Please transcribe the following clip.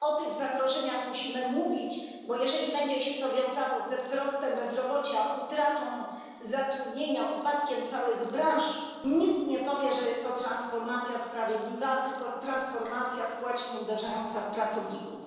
O tych zagrożeniach musimy mówić, bo jeżeli będzie się to wiązało ze wzrostem bezrobocia, utratą zatrudnienia, upadkiem całych branż, nikt nie powie, że jest to transformacja sprawiedliwa, tylko transformacja społecznie uderzająca w pracowników.